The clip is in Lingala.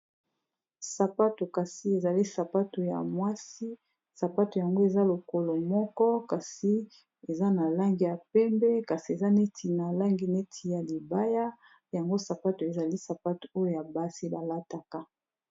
Sapatu ezali sapatu ya basi ,sapatu yango eza lokolo moko eza na langi ya pembe ,pe eza ya talon.